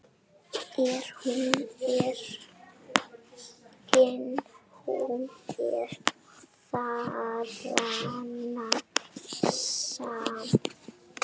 En hún er þarna samt.